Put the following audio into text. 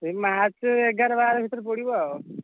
ସେଇ March ଏଗାର ବାର ଭିତରେ ପଡିବ ଆଉ।